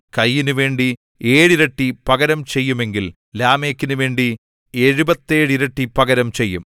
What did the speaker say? കയീനുവേണ്ടി ഏഴിരട്ടി പകരം ചെയ്യുമെങ്കിൽ ലാമെക്കിനുവേണ്ടി എഴുപത്തേഴു ഇരട്ടി പകരം ചെയ്യും